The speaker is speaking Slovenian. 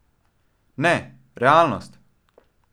Ne, realnost!